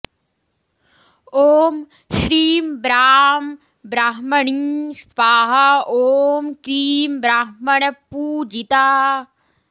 ॐ श्रीं ब्रां ब्राह्मणी स्वाहा ॐ क्रीं ब्राह्मणपूजिता